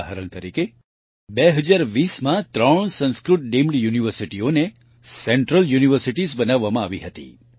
ઉદાહરણ તરીકે 2020માં ત્રણ સંસ્કૃત ડીમ્ડ યુનિવર્સિટીઓને સેન્ટ્રલ યુનિવર્સિટીઝ બનાવવામાં આવી હતી